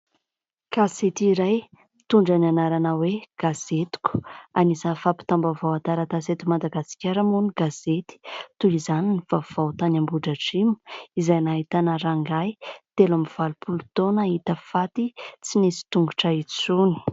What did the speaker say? Gazety iray mitondra ny anarana hoe gazetiko .Anisany fampitam-baovao an-taratasy eto Madagasikara moa ny gazety. Toy izany ny vaovao tany Ambohidratrimo izay nahitana rangahy telo amin'ny valopolo taona hita faty tsy nisy tongotra intsony.